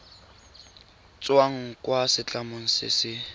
tswang kwa setlamong se se